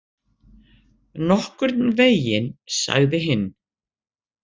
Nokkurn veginn, sagði hinn.